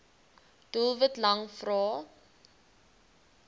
doelwit lang vrae